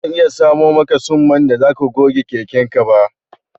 Bazan iya samo maka tsumman da zaka goge keken ka ba